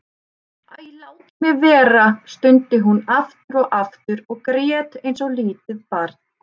Æ, látið mig vera stundi hún aftur og aftur og grét eins og lítið barn.